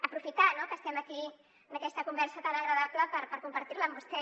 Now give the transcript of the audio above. aprofitar no que estem aquí en aquesta conversa tan agradable per compartir la amb vostè